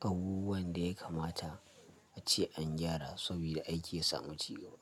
abubuwan da ya kamata a ce an gyara saboda aiki ya samu ci gaba.